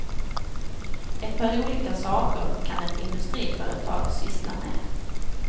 Ett par olika saker kan ett industriföretag syssla med.